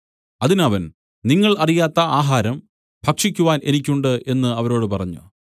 അതിന് അവൻ നിങ്ങൾ അറിയാത്ത ആഹാരം ഭക്ഷിക്കുവാൻ എനിക്ക് ഉണ്ട് എന്നു അവരോട് പറഞ്ഞു